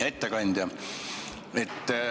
Hea ettekandja!